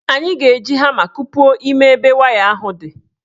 Anyị ga-eji hama kupuo ime ebe waya ahụ dị.